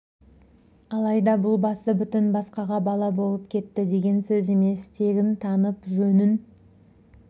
емес алайда бұл басы бүтін басқаға бала болып кетті деген сөз емес тегін танып жөнін